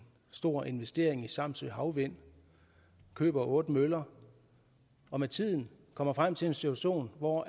stor investering i samsø havvind køber otte møller og med tiden kommer frem til en situation hvor